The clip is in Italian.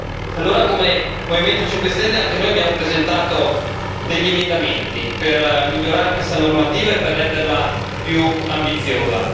E allora, come Movimento 5 Stelle, anche noi abbiamo presentato degli emendamenti per migliorare questa normativa e per renderla più ambiziosa.